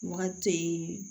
Wagati te yen